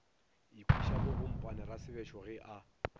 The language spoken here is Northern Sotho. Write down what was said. ikhwiša bogompane rasebešo ge a